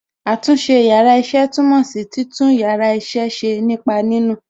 Àtúnṣe yàrá iṣẹ́ túmọ̀ sí títún yàrá iṣẹ́ ṣe nípa nínù.